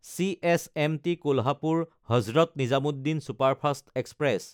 CSMT কোলহাপুৰ–হজৰত Nizamuddin superfast express